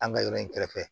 An ka yɔrɔ in kɛrɛfɛ